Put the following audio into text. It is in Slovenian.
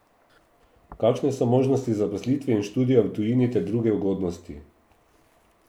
Kakšne so možnosti zaposlitve in študija v tujini ter druge ugodnosti?